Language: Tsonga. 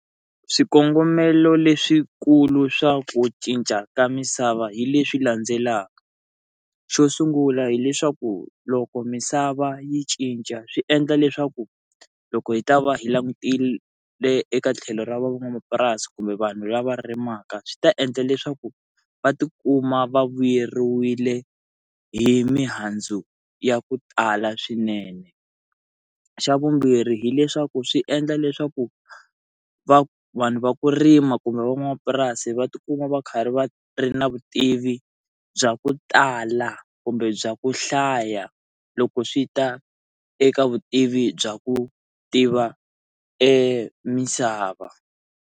Swikongomelo leswikulu swa ku cinca ka misava hi leswi landzelaka xo sungula hileswaku loko misava yi cinca swi endla leswaku loko hi ta va hi langutile eka tlhelo ra van'wamapurasi kumbe vanhu lava rimaka swi ta endla leswaku va tikuma va vuyeriwile hi mihandzu ya ku tala swinene xa vumbirhi hileswaku swi endla leswaku va vanhu va ku rima kumbe van'wamapurasi va tikuma va karhi va ri na vutivi bya ku tala kumbe bya ku hlaya loko swi ta eka vutivi bya ku tiva emisava.